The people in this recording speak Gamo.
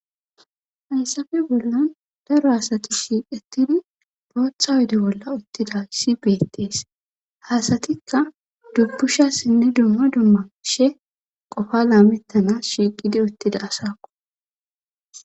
Hayssafe bollan daro hasati shiiqetidi bootha wode bolla uttida si beettees haasatikka dubbushassinne dumma dumma she qofa laamettana shiiqidi uttida asaqo